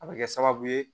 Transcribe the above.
A bɛ kɛ sababu ye